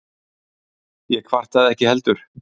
Ég kvartaði ekki heldur.